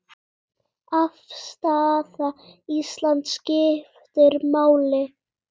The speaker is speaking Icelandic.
Afstaða Íslands skiptir máli.